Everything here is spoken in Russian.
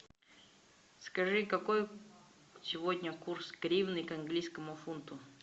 скажи какой сегодня курс гривны к английскому фунту